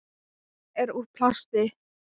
Hann er úr plasti.